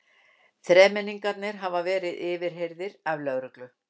Þremenningarnir hafa verið yfirheyrðir af lögreglu